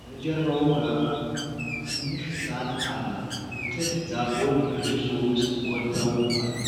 በጀርባው ጋ ትንሽ እሳት አለ። የጥድ ዛፎች በጭሱ ውስጥ ጎልተው አሉ።